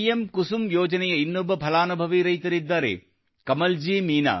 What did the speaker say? ಕುಸುಮ್ ಯೋಜನೆಯ ಇನ್ನೊಬ್ಬ ಫಲಾನುಭವಿ ರೈತರಿದ್ದಾರೆ ಕಮಲ್ ಮೀನಾ